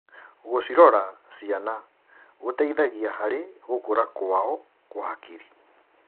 Gũcirora ciana gũteithagia harĩ gũkũra kwao kwa hakiri.